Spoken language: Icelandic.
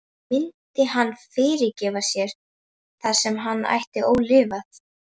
Myndi hann fyrirgefa sér það sem hann ætti ólifað?